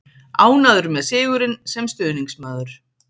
Ánægður með sigurinn, sem stuðningsmaður.